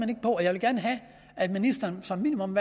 det og jeg vil gerne have at ministeren som minimum